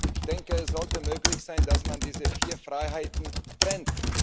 Ich denke, es sollte möglich sein, dass man diese vier Freiheiten trennt.